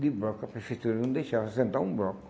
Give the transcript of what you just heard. de bloco, a Prefeitura não deixava assentar um bloco.